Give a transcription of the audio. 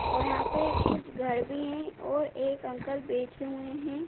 और यहां पर कुछ घर भी हैं और एक अंकल बैठे हुए हैं।